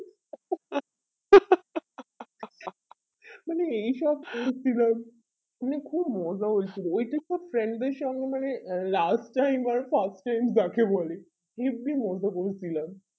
মানে এই সব করেছিলাম কিন্তু খুব মজা হয়েছিল ওই টুকু friend দের সঙ্গে মানে আহ last time আর first time যাকে বলে হেবি মজা করেছিলম